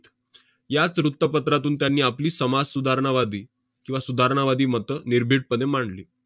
याच वृत्तपत्रातून त्यांनी आपली समाजसुधारणावादी किंवा सुधारणावादी मतं निर्भीडपणे मांडली.